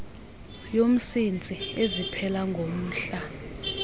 yomsintsi eziphela ngomhla